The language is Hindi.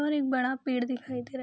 और एक बड़ा पेड़ दिखाई दे रहा --